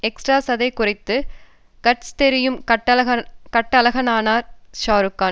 extra சதை குறைந்து cuts தெரியும் கட்டழகனானார் ஷாருக்கான்